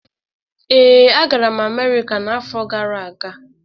Ee, agara m Amerika n'afọ gara aga.